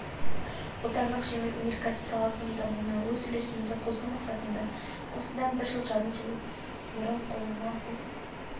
отандық жеңіл өнеркәсіп саласының дамуына өз үлесімізді қосу мақсатында осыдан бір жарым жыл бұрын қолынан іс